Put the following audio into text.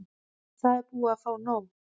Það er búið að fá nóg.